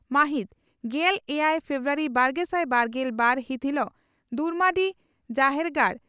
ᱢᱟᱹᱦᱤᱛ ᱜᱮᱞ ᱮᱭᱟᱭ ᱯᱷᱮᱵᱨᱟᱣᱟᱨᱤ ᱵᱟᱨᱜᱮᱥᱟᱭ ᱵᱟᱨᱜᱮᱞ ᱵᱟᱨ ᱦᱤᱛ ᱦᱤᱞᱚᱜ ᱫᱩᱢᱟᱰᱤ ᱡᱟᱦᱮᱨᱜᱟᱲ